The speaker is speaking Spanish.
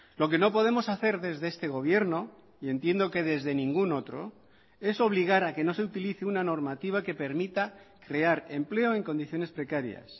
lo que no podemos hacer desde este gobierno y entiendo que desde ningún otro es obligar a que no se utilice una normativa que permita crear empleo en condiciones precarias